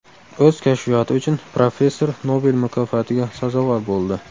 O‘z kashfiyoti uchun professor Nobel mukofotiga sazovor bo‘ldi.